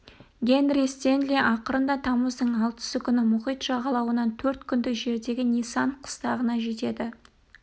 генри стенли ақырында тамыздың алтысы күні мұхит жағалауынан төрт күндік жердегі ни-санд қыстағына жетеді